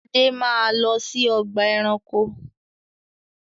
Ade máa lọ sí ọgbà-ẹranko!